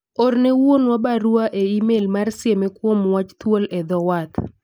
orne wuonwa barua me email mar sieme kuom wach thuol e dho wath